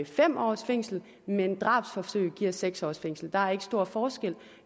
fem års fængsel mens drabsforsøg giver seks års fængsel der er ikke stor forskel på